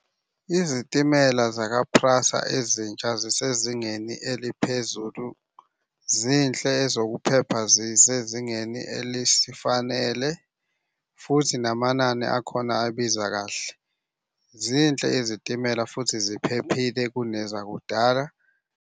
Izitimela zaka-PRASA ezintsha zisezingeni eliphezulu. Zinhle ezokuphepha zisezingeni elisifanele, futhi namanani akhona abiza kahle. Zinhle izitimela futhi ziphephile kunezakudala.